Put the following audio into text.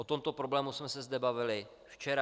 O tomto problému jsme se zde bavili včera.